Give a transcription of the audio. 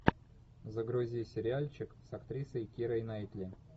загрузи сериальчик с актрисой кирой найтли